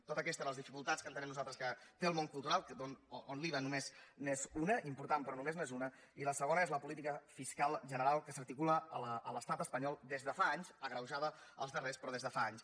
totes aquestes eren les dificultats que entenem nosaltres que té el món cultural on l’iva només n’és una important però només n’és una i la segona és la política fiscal general que s’articula a l’estat espanyol des de fa anys agreujada els darrers però des de fa anys